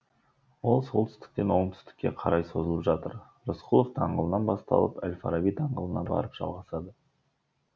ол солтүстіктен оңтүстікке қарай созылып жатыр рысқұлов даңғылынан басталып әл фараби даңғылына барып жалғасады